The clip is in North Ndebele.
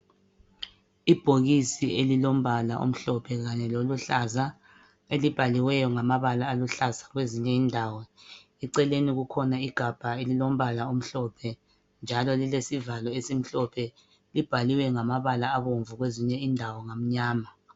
Ibhokisi elilombala omhlophe kanye loluhlaza elibhaliweyo ngamabala aluhlaza kwezinye indawo. Eceleni kukhona igabha elilombala omhlophe njalo lilesivalo esimhlophe, libhalwe ngamabala abomvu kwezinye indawo ngamnyama.